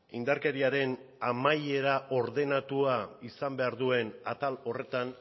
indarkeriaren amaiera ordenatua izan behar duen atal horretan